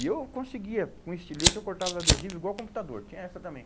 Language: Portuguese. E eu conseguia, com estilete eu cortava adesivo igual computador, tinha essa também.